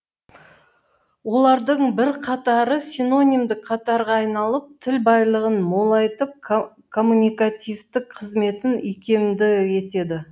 олардың бірқатары синонимдік қатарға айналып тіл байлығын молайтып коммуникативті қызметін икемді етеді